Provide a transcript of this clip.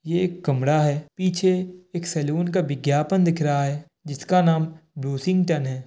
यह एक कमरा है। पीछे एक सलून का विज्ञापन दिख रहा है। जिसका नाम ब्लूशिंगटन है।